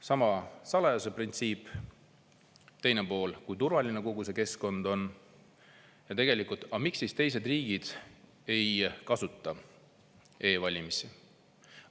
Sama salajasuse printsiip, teine pool, kui turvaline kogu see keskkond on, ja tegelikult, miks teised riigid ei kasuta e-valimisi.